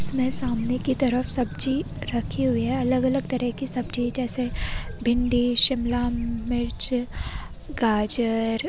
इसमें सामने की तरफ सब्जी रखी हुई है अलग-अलग तरह की सब्जी रखी हुई है जैसे भिंडी शिमला मिर्च गाजर--